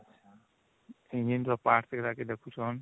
engine ର parts ଗୁଡାକ ଦେଖୁଛନ